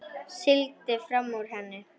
Sigldi fram úr henni.